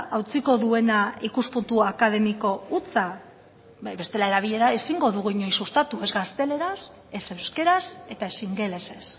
hautsiko duena ikuspuntu akademiko hutsa bai bestela erabilera ezingo dugu inoiz sustatu ez gazteleraz ez euskaraz eta ez ingelesez